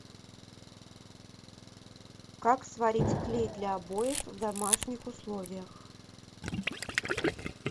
как сварить клей для обоев в домашних условиях